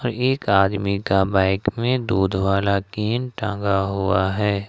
और एक आदमी का बाइक में दूध वाला कैन टांगा हुआ है।